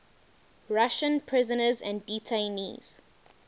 russian prisoners and detainees